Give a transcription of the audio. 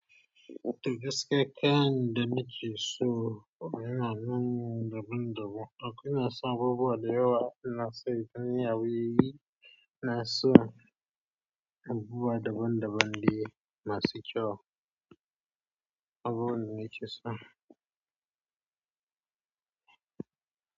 Da gaske, kyan dana ke so yana nan daban-daban. Akwai nasa abubuwa da yawa, nasa ganyayewaye, inaso abubuwa daban-daban dai masu kyau.